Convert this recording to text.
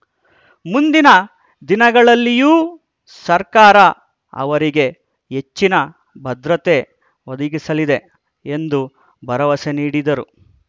ಮುಂದಿನ ದಿನಗಳಲ್ಲಿಯೂ ಸರ್ಕಾರ ಅವರಿಗೆ ಹೆಚ್ಚಿನ ಭದ್ರತೆ ಒದಗಿಸಲಿದೆ ಎಂದು ಭರವಸೆ ನೀಡಿದರು